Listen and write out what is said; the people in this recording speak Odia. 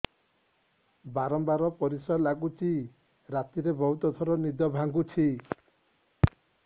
ବାରମ୍ବାର ପରିଶ୍ରା ଲାଗୁଚି ରାତିରେ ବହୁତ ଥର ନିଦ ଭାଙ୍ଗୁଛି